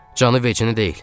Canı vecinə deyil.